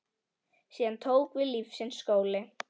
Síðan tók við lífsins skóli.